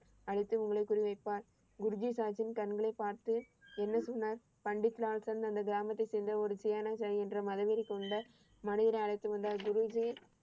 அளித்து உங்களை புரிய வைப்பார். குருஜி சாஹீபின் கண்களை பார்த்து என்ன சொன்னார்? பண்டிட் லால் சொன்ன அந்த கிராமத்தை சேர்ந்த ஒரு சியாநசை என்ற மரவில் கொண்ட மனிதரை அழைத்து வந்தார். குருஜி